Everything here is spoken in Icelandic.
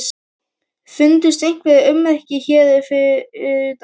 Fundust einhver ummerki hér fyrir utan?